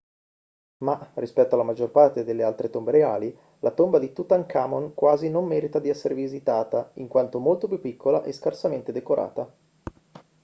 ma rispetto alla maggior parte delle altre tombe reali la tomba di tutankhamon quasi non merita di essere visitata in quanto molto più piccola e scarsamente decorata